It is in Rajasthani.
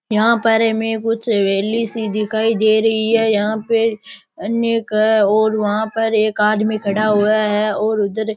यहां पर हमें कुछ हवेली सी दिखाई दे रही है यहां पर अनेक है और वहां पर एक आदमी खड़ा हुआ है और उधर --